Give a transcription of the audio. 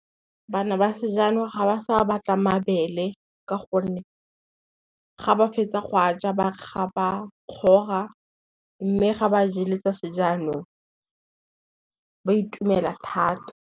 Bana ba sejanong ga ba sa batla mabele ka gonne, ga ba fetsa go a ja ba kgora mme ga ba jele tsa sejanong ba itumela thata.